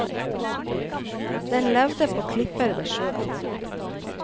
Den levde på klipper ved sjøen.